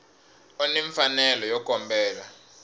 u ni mfanelo yo kombela